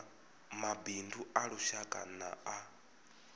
mabindu a lushaka na a